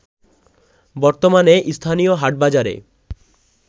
বর্তমানে স্থানীয় হাটবাজারে